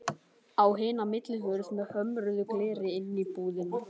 Á hina millihurð með hömruðu gleri inn í íbúðina.